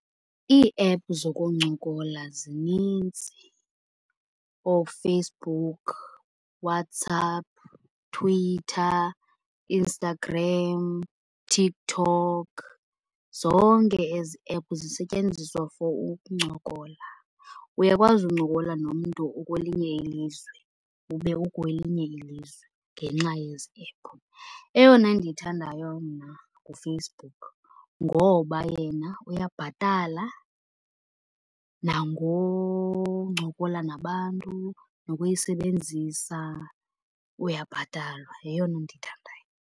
Ii-app zokuncokola zinintsi. OoFacebook, WhatsApp, Twitter, Instagram, TikTok zonke ezi app zisetyenziswa for ukuncokola. Uyakwazi uncokola nomntu okwelinye ilizwe ube ukwelinye ilizwe ngenxa yezi ephu. Eyona ndiyithandayo mna nguFacebook, ngoba yena uyabhatala nangoncokola nabantu, nokuyisebenzisa uyabhatalwa yeyona ndiyithandayo.